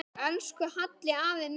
Elsku Halli afi minn.